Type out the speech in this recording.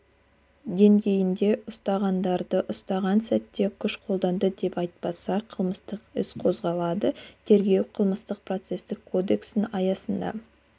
деңгейінде ұстағандарды ұсталған сәтте күш қолданды деп айыптаса қылмыстық іс қозғалады тергеу қылмыстық-процесстік кодекстің аясында